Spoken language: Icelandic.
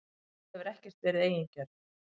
Þú hefur ekkert verið eigingjörn.